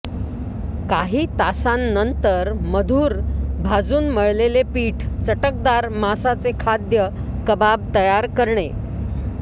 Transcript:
काही तासांनंतर मधुर भाजून मळलेले पीठ चटकदार मांसाचे खाद्य कबाब तयार करणे